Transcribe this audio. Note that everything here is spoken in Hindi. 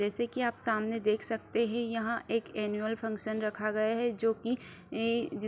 जैसे की आप सामने देख सकते हैं यहाँ एक एनुअल फंक्शन रखा गया है जो की ए ज --